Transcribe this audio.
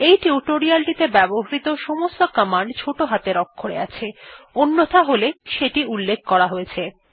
এই টিউটোরিয়ালটিতে ব্যবহৃত সমস্ত কমান্ড ছোট হাতের অক্ষরে আছে অন্যথা হলে সেটি উল্লেখ করা হয়েছে